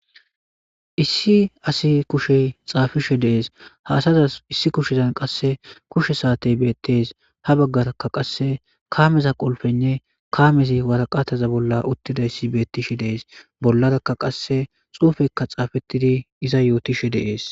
Issi asi kushey xaafishe dees haasazas issi kushezan qasse kushe saatey beettees ha baggarakka qasse kaameza qolfenne kaamezi waraqataza bolla uttidayssi beettishe dees bollarakka qasse xuufekka xaafettidi iza yootishe dees.